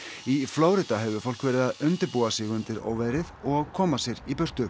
í Flórída hefur fólk verið að undirbúa sig undir óveðrið og koma sér í burtu